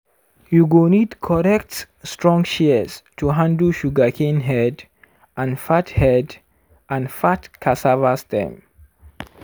you go need correct strong shears to handle sugarcane head and fat head and fat cassava stem.